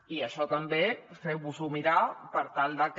i això també feu vos ho mirar per tal de que